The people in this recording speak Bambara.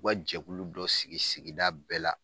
U ka jɛkulu dɔ sigi sigida bɛɛ la